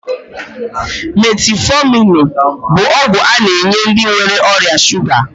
Metiifominu bụ ọgwụ a na-enye ndị nwere ọrịa shuga